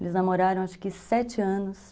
Eles namoraram acho que sete anos.